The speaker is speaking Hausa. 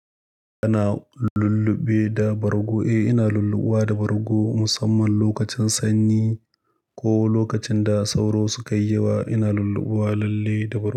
Ana lulluɓe da bargo. Eh, ina lulluɓuwa da bargo musamman lokacin sanyi ko lokacin da sauro sukayi yawa. Ina lulluwa lalle da bargo.